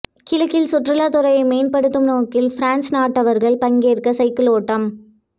கிழக்கில் சுற்றுலாத்துறையை மேம்படுத்தும் நோக்கில் பிரான்ஸ் நாட்டவர்கள் பங்கேற்ற சைக்கிள் ஓட்டம்